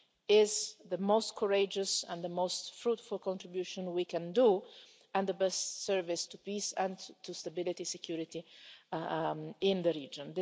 alive is the most courageous and the most fruitful contribution we can do and the best service to peace and stability and security in the region.